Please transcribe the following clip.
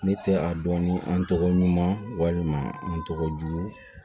Ne tɛ a dɔn ni an tɔgɔ ɲuman walima an tɔgɔ jugu